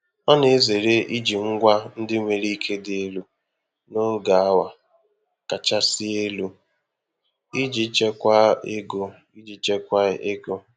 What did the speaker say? Ọ na-ezere iji ngwa ndị nwere ike dị elu n'oge awa kachasị elu iji chekwaa ego. iji chekwaa ego.